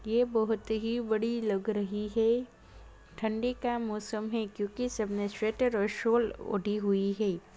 ये बहुत ही बड़ी लग रही है ठंडी का मौसम है क्योंकि सबने स्वेटर और शॉल ओढ़ी हुई हैं।